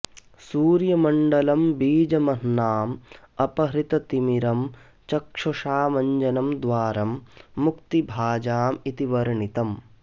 सूर्यमण्डलं बीजमह्नाम् अपहृततिमिरं चक्षुषामञ्जनं द्वारं मुक्तिभाजाम् इति वर्णितम्